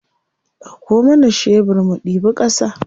Ɗauko mana shebir mu ɗibi ƙasa.